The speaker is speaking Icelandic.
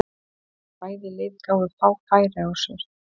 Bæði lið gáfu fá færi á sér.